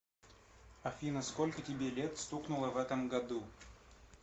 афина сколько тебе лет стукнуло в этом году